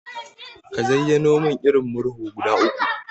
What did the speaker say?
Ka zayyano mun irin Murhu guda uku?